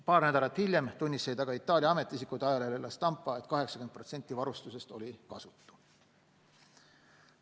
Paar nädalat hiljem tunnistasid aga Itaalia ametiisikud ajalehele La Stampa, et 80% varustusest oli kasutu.